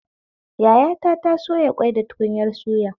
Yayata ta soya ƙwai da tukunyar suya